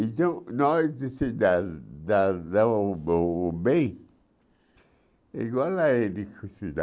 Então, nós, se dá dá dá o be o bem, igual a ele que se dá,